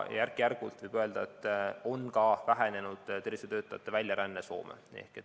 Järk-järgult, võib öelda, on ka vähenenud tervishoiutöötajate väljaränne Soome.